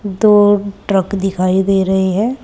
दो ट्रक दिखाई दे रहे हैं।